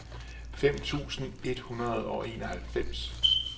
femten tusind et hundrede og enoghalvfems